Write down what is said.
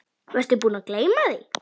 Varstu búinn að gleyma því?